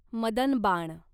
मदनबाण